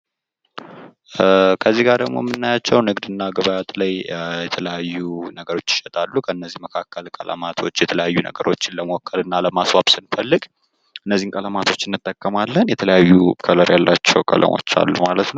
ከዚህጋ ደሞ የምናያቸው ንግድና ግብአት ላይ የተለያዩ ነገሮች ይሸጣሉ። ከነዚህ መካከል ቀለማቶች የተለያዩ ነገሮችን ለመወከልና ለማስዋብ ስንፈልግ እነዚህን ቀለማቶች እንጠቀማለን። የተለያዩ ከለር ያላቸው ቀለሞች አሉ ማለት ነው።